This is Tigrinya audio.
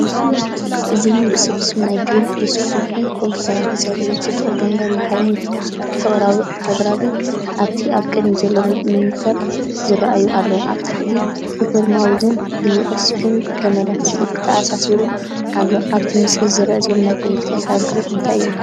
እዚ ምሉእ ስብስብ ናይ ዴል ዴስክቶፕ ኮምፒዩተራት ዘርኢ እዩ። ጽቡቕ ገማግም ባሕርን ፍቕራዊ ኣግራብን ኣብቲ ኣብ ቅድሚት ዘሎ ሞኒተር ተራእዮም ኣለዉ። ኣብ ታሕቲ፡ ኪቦርድን ማውዝን ብዩኤስቢ ገመዳት ተኣሳሲሩ ኣሎ። ኣብቲ ምስሊ ዝርአ ዘሎ ናይ ኮምፒተር ሃርድዌር እንታይ እዩ?